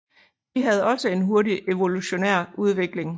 De havde også en hurtig evolutionær udvikling